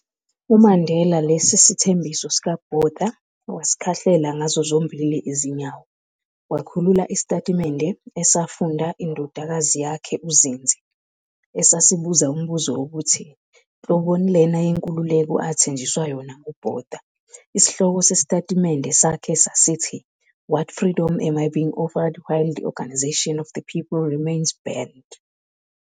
UMandela lesi sithembiso sikaBotha, wasikhahlela ngazo zombili izinyawo, wakhulula isitatimende esafunda yindodakazi yakhe uZindzi, esasibuza umbuzo wokuthi, nhloboni lena yenkululeko athenjiswa yona nguBotha, isihloko sesitatimende sakhe, sasithi- "What freedom am I being offered while the organisation of the people remains banned?